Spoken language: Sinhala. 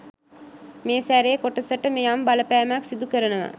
මේ සැරේ කොටසට යම් බලපෑමක් සිඳුකරනවා